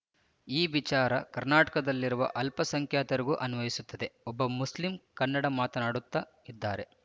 ಈ ವಿಚಾರ ಕರ್ನಾಟಕದಲ್ಲಿರುವ ಅಲ್ಪಸಂಖ್ಯಾತರಿಗೂ ಅನ್ವಯಿಸುತ್ತದೆ ಒಬ್ಬ ಮುಸ್ಲಿಂ ಕನ್ನಡ ಮಾತನಾಡುತ್ತಾ ಇದ್ದರೆ